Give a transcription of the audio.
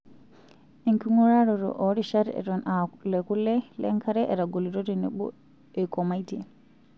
Enking'uraroto oorishat eton aa lekule, lenkare, etagolito tenebo eikomaitie.